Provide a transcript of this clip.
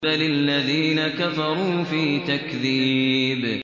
بَلِ الَّذِينَ كَفَرُوا فِي تَكْذِيبٍ